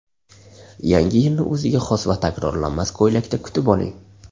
Yangi yilni o‘ziga xos va takrorlanmas ko‘ylakda kutib oling.